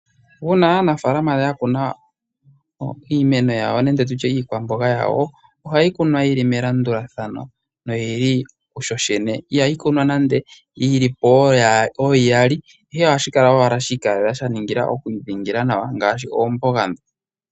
Uuna aanafalama ya kuna iinima yawo nenge tutye iikwamboga yawo, ohayi kunwa yi li me landulathano lyo lyene ihayi kunwa nando yi li po oo iyali ihe ohashi kala owala shi ikalela.